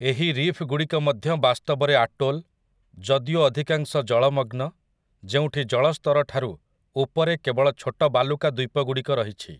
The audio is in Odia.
ଏହି ରିଫ୍‌ଗୁଡ଼ିକ ମଧ୍ୟ ବାସ୍ତବରେ ଆଟୋଲ୍, ଯଦିଓ ଅଧିକାଂଶ ଜଳମଗ୍ନ, ଯେଉଁଠି ଜଳସ୍ତରଠାରୁ ଉପରେ କେବଳ ଛୋଟ ବାଲୁକା ଦ୍ୱୀପଗୁଡ଼ିକ ରହିଛି ।